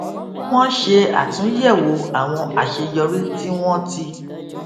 wọn ṣe àtúnyẹwò àwọn àṣeyọrí tí wọn ti